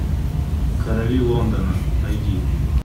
короли лондона найди